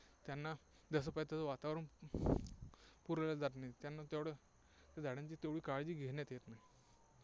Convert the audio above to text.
त्यांना जसं पाहिजे तसं वातावरण पुरवल्या जात नाही, त्यांना तेवढ्या झाडांची तेवढी काळजी घेण्यात येत नाही.